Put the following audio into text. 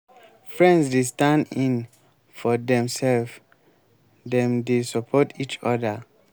friends dey stand in for dem self dem dey support each oda